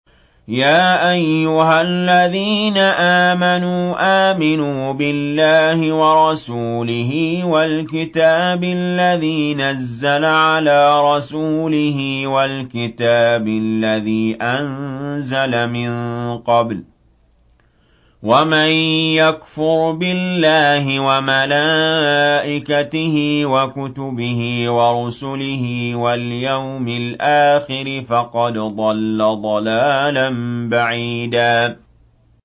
يَا أَيُّهَا الَّذِينَ آمَنُوا آمِنُوا بِاللَّهِ وَرَسُولِهِ وَالْكِتَابِ الَّذِي نَزَّلَ عَلَىٰ رَسُولِهِ وَالْكِتَابِ الَّذِي أَنزَلَ مِن قَبْلُ ۚ وَمَن يَكْفُرْ بِاللَّهِ وَمَلَائِكَتِهِ وَكُتُبِهِ وَرُسُلِهِ وَالْيَوْمِ الْآخِرِ فَقَدْ ضَلَّ ضَلَالًا بَعِيدًا